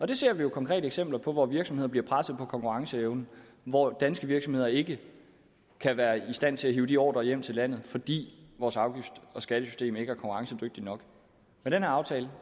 det ser vi jo konkrete eksempler på hvor virksomheder bliver presset på konkurrenceevnen hvor danske virksomheder ikke er i stand til at hive de ordrer hjem til landet fordi vores afgifts og skattesystem ikke er konkurrencedygtigt nok med den her aftale